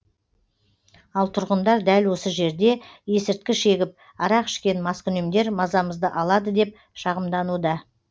ал тұрғындар дәл осы жерде есірткі шегіп арақ ішкен маскүнемдер мазамызды алады деп шағымдануда